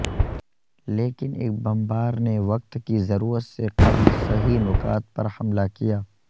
لیکن ایک بمبار نے وقت کی ضرورت سے قبل صحیح نکات پر حملہ کیا